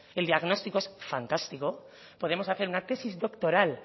el diagnóstico es fantástico podemos hacer una tesis doctoral